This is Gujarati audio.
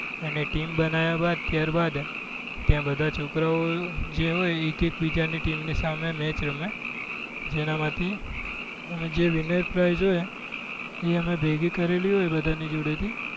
અને team બનાયા બાદ ત્યાર બાદ ત્યાં બધા છોકરાઓ જે હોય એક એક બજા ની team ની સ્સામે match રમે જેના માંથી જે winner price હોય એ અમે ભેગી કરેલી હોય બધાની જોડે થી